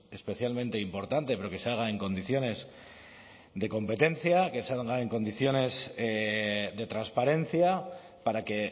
especialmente importante pero que se haga en condiciones de competencia que se haga en condiciones de transparencia para que